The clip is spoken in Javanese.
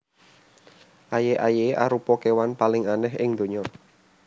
Aye aye arupa kewan paling aneh ing ndonya